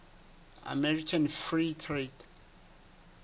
american free trade